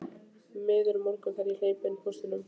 Miður morgunn þegar ég hleypi inn póstinum.